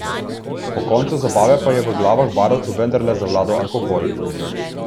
Po koncu zabave pa je v glavah barovcev vendarle zavladal alkohol.